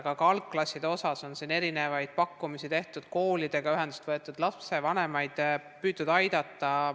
Aga ka algklasside kohta on erinevaid pakkumisi tehtud, koolidega ühendust võetud, lapsevanemaid püütud aidata.